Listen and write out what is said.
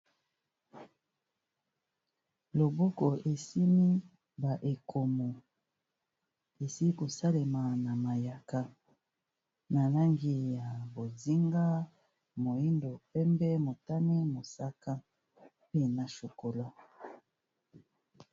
Loboko esimbi ba ekomo esili ko salema na mayaka na langi ya bozinga, moyindo, pembe, motani, mosaka, pe na chokolat.